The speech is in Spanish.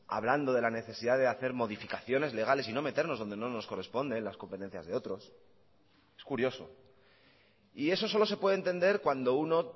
hablando de la necesidad de hacer modificaciones legales y no meternos donde no nos corresponde en las competencias de otros es curioso y eso solo se puede entender cuando uno